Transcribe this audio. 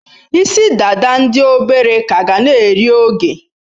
Isi-dada ndi obere ka ga na-eri oge.